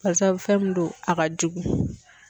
Basabu fɛn min do a ka jugu.